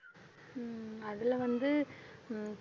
உம் அதில வந்து உம்